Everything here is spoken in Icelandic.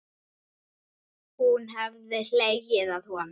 Hún hefði hlegið að honum.